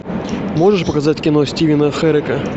можешь показать кино стивена херека